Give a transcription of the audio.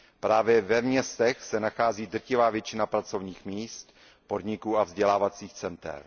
Právě ve městech se nachází drtivá většina pracovních míst, podniků a vzdělávacích center.